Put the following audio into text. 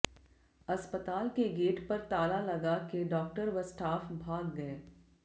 अस्पताल के गेट पर ताला लगा के डॉक्टर व स्टाफ भाग गए